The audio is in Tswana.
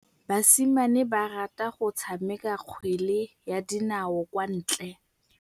Basimane ba rata go tshameka kgwele ya dinaô kwa ntle.